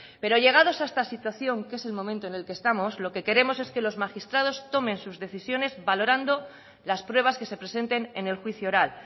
pero llegados a esta situación que es el momento en el que estamos lo que queremos es que los magistrados tomen sus decisiones valorando las pruebas que se presenten en el juicio oral